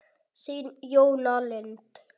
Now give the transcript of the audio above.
Þín, Jóna Lind.